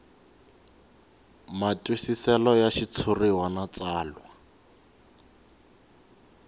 matwisiselo ya xitshuriwa na tsalwa